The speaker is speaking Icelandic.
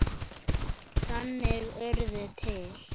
Þannig urðu til